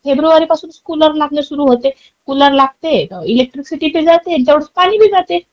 फेब्रुवारीपासूनच cooler लागण सुरू होते. कुलर लागते, इलेक्ट्रिसिटी बी जाते तेवढेच पाणी बी जाते.